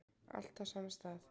Allt á sama stað